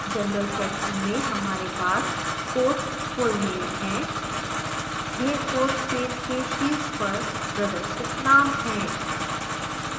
general section में हमारे पास course full name है यह course पेज के शीर्ष पर प्रदर्शित name है